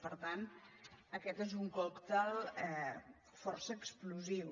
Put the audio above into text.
per tant aquest és un còctel força explosiu